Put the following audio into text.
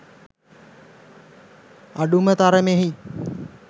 අඩුම තරමෙහි